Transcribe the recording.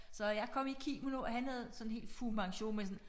Så jeg kom i kimono og han havde sådan helt Fu Manchu med sådan